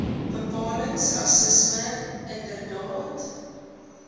bepalings rassisme inderdaad